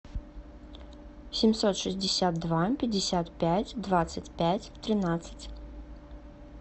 семьсот шестьдесят два пятьдесят пять двадцать пять тринадцать